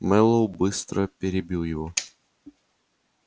мэллоу быстро перебил его